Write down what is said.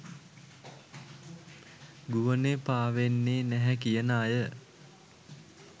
ගුවනේ පාවෙන්නේ නැහැ කියන අය